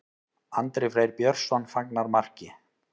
Andri Freyr Björnsson fagnar marki.